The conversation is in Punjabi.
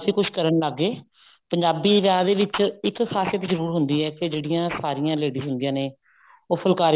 ਕੁੱਝ ਕਰਨ ਲੱਗ ਗਏ ਪੰਜਾਬੀ ਵਿਆਹ ਦੇ ਵਿੱਚ ਇੱਕ ਖ਼ਾਸੀਅਤ ਜਰੂਰ ਹੁੰਦੀ ਹੈ ਕੀ ਜਿਹੜੀਆਂ ਸਾਰੀਆਂ ladies ਹੁੰਦੀਆਂ ਨੇ ਉਹ ਫੁਲਕਾਰੀ ਦੇ